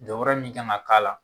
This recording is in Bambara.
Jɔyɔrɔ min kan k'a la